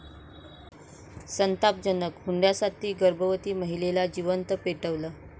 संतापजनक!, हुंड्यासाठी गर्भवती महिलेला जिवंत पेटवलं